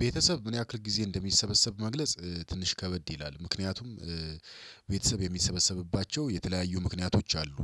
ቤተሰብ ምን ያክል ጊዜ እንደሚሰበሰብ መግለጽ ትንሽ ከበድ ይላል ምክንያቱም። ቤተሰብ የሚሰበሰብባቸው የተለያዩ ምክንያቶች አሉ።